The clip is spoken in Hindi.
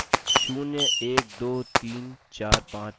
अतः यह है 0 1 2 3 4 5 6